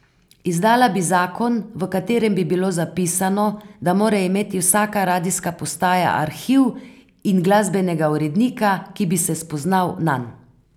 Izdala bi zakon, v katerem bi bilo zapisano, da mora imeti vsaka radijska postaja arhiv in glasbenega urednika, ki bi se spoznal nanj.